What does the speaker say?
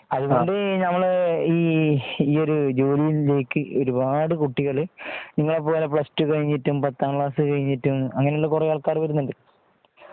അതുകൊണ്ട് നമ്മൾ ഈഒരു ഉജോലിയിലേക്ക് ഒരുപാട് കുട്ടികൾ.നിങ്ങളെപ്പോലെ പ്ലസ്ടു കഴിഞ്ഞിട്ടും പത്താം ക്ലാസ് കഴിഞ്ഞിട്ടും. അങ്ങനെയുള്ള കുറെ ആൾക്കാർ വരുന്നുണ്ട്.